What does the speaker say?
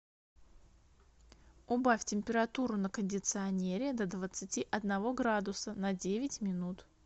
убавь температуру на кондиционере до двадцати одного градуса на девять минут